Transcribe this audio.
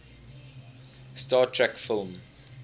star trek film